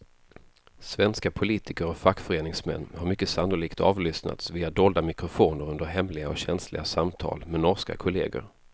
Svenska politiker och fackföreningsmän har mycket sannolikt avlyssnats via dolda mikrofoner under hemliga och känsliga samtal med norska kolleger.